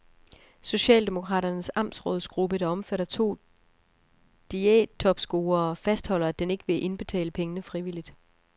Socialdemokraternes amtsrådgruppe, der omfatter to diættopscorere, fastholder, at den ikke vil indbetale pengene frivilligt.